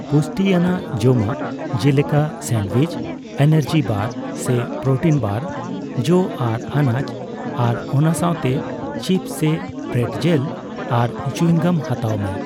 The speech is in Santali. ᱯᱩᱥᱴᱤ ᱟᱱᱟᱜ ᱡᱚᱢᱟᱜ ᱡᱮᱞᱮᱠᱟ ᱥᱟᱱᱰᱩᱭᱤᱡ, ᱮᱱᱟᱨᱡᱤ ᱵᱟᱨ ᱥᱮ ᱯᱨᱳᱴᱤᱱ ᱵᱟᱨ, ᱡᱚ ᱟᱨ ᱟᱱᱟᱪ ᱟᱨ ᱚᱱᱟ ᱥᱟᱣᱛᱮ ᱪᱤᱯᱥ ᱥᱮ ᱯᱨᱮᱴᱡᱮᱞ ᱟᱨ ᱪᱩᱭᱤᱝᱜᱟᱢ ᱦᱟᱛᱟᱣ ᱢᱮ ᱾